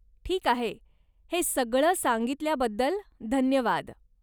ठीक आहे, हे सगळं सांगितल्याबद्दल धन्यवाद.